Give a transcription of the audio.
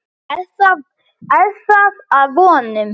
Er það að vonum.